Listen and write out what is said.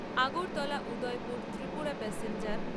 Agartala Udaipur Tripura passenger